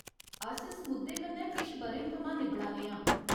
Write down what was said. अस इस मुद्दे कन्नै किश ब'रें थमां निब्बड़ाने आं।